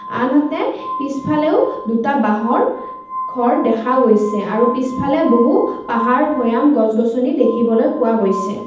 আনহাতে পিছফালেও দুটা বাঁহৰ ঘৰ দেখা গৈছে আৰু পিছফালে বহু পাহাৰ ভৈয়াম গছ গছনি দেখিবলৈ পোৱা গৈছে।